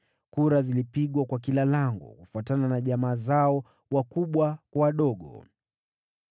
Kura zilipigwa kwa kila lango, kufuatana na jamaa zao, wakubwa kwa wadogo.